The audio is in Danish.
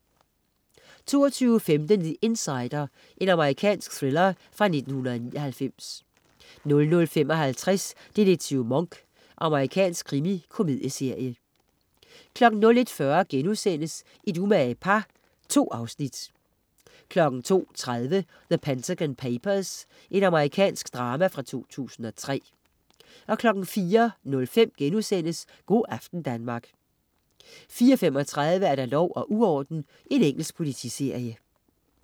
22.15 The Insider. Amerikansk thriller fra 1999 00.55 Detektiv Monk. Amerikansk krimikomedieserie 01.40 Et umage par* 2 afsnit 02.30 The Pentagon Papers. Amerikansk drama fra 2003 04.05 Go' aften Danmark* 04.35 Lov og uorden. Engelsk politiserie